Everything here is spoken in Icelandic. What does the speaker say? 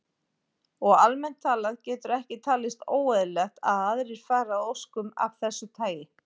Og almennt talað getur ekki talist óeðlilegt að aðrir fari að óskum af þessu tagi.